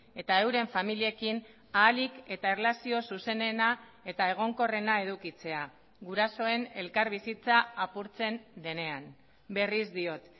eta euren familiekin ahalik eta erlazio zuzenena eta egonkorrena edukitzea gurasoen elkarbizitza apurtzen denean berriz diot